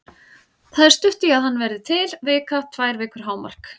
Það er stutt í að hann verði til, vika, tvær vikur hámark.